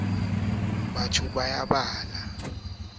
se ne se ahuwe ka